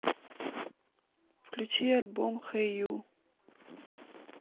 включи альбом хэй ю